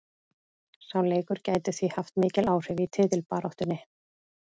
Sá leikur gæti því haft mikil áhrif í titilbaráttunni.